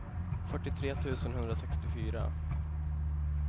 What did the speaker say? fyrtiotre tusen etthundrasextiofyra